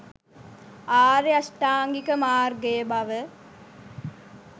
ආර්ය අෂ්ටාංගික මාර්ගය බව